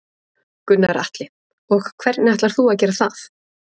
Gunnar Atli: Og hvernig ætlar þú að gera það?